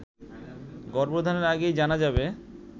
গর্ভধারণের আগেই জানা যাবে